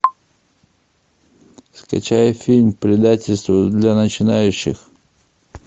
скачай фильм предательство для начинающих